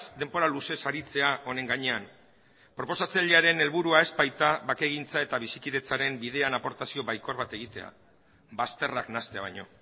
denbora luzez aritzea honen gainean proposatzailearen helburua ez baita bakegintza eta bizikidetzaren bidean aportazio baikor bat egitea bazterrak nahastea baino